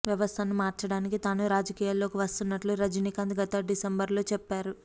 వ్యవస్థను మార్చడానికి తాను రాజకీయాల్లోకి వస్తున్నట్లు రజనీకాంత్ గత డిసెంబర్ లో చెప్పారు